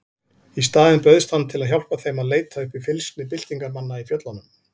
Í staðinn bauðst hann til að hjálpa þeim að leita uppi fylgsni byltingarmanna í fjöllunum.